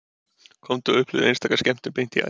Komdu með og upplifðu einstaka skemmtun beint í æð